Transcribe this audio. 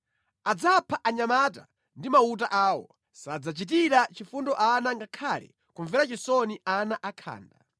Adzapha anyamata ndi mauta awo; sadzachitira chifundo ana ngakhale kumvera chisoni ana akhanda.